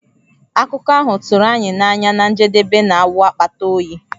Akụkọ ahụ tụrụ anyị n'anya na njedebe na-awụ akpata oyi.